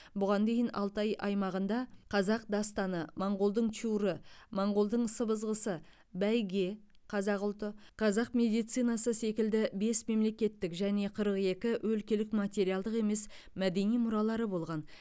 бұған дейін алтай аймағында қазақ дастаны моңғолдың чуры моңғолдың сыбызғысы бәйге қазақ ұлты қазақ медицинасы секілді бес мемлекеттік және қырық екі өлкелік материалдық емес мәдени мұралары болған